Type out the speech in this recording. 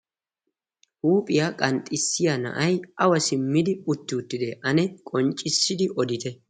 huuphiyaa qanxxissiya na'ay awa simmidi utti uttite? Ane qonccissidi odite?